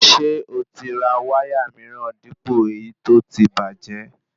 Ṣé oti ra wáyà míràn dípò èyí tó tí bàjẹ́